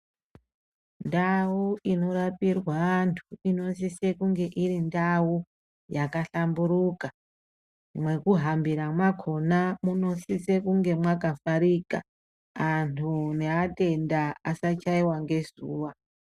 Ndau inorapirwa anthu inosise kunge iri ndau yakahlamburuka mwekuhambira mwakona munosise kunge mwakavharika anthu neatenda asachaiwa ngezuwa.